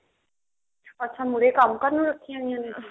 ਅੱਛਾ ਮੁਹਰੇ ਕੰਮ ਕਰਨ ਨੂੰ ਰੱਖੀ ਹੋਈਆਂ ਨੇ